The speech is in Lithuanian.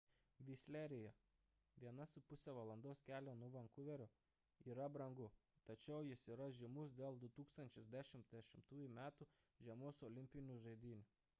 visleryje 1,5 val. kelio nuo vankuverio yra brangu tačiau jis yra žymus dėl 2010 m. žiemos olimpinių žaidynių